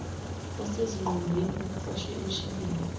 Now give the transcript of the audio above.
esezingqwembeni okuqoshwe emshinini